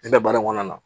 Ne bɛ baara in kɔnɔna na